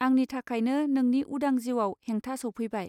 आंनि थाखायनो नोंनि उदां जिउआव हेंथा सौफैबाय